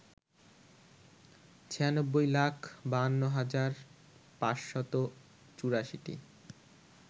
৯৬ লাখ ৫২ হাজার ৫৮৪টি